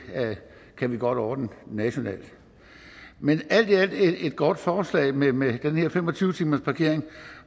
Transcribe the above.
her kan vi godt ordne nationalt men alt i alt er det et godt forslag med med den her fem og tyve timersparkering